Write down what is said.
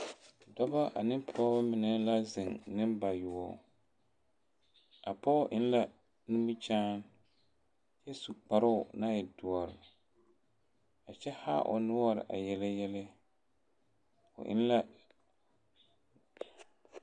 Dɔbɔ ane pɔgebɔ mine la zeŋ nembayoɔ, a pɔge eŋ la nimikyaane kyɛ su kparoo naŋ e doɔre a kyɛ haa o noɔre a yele yɛlɛ, o eŋ la